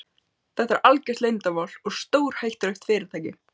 Þetta er algjört leyndarmál og stórhættulegt fyrirtæki.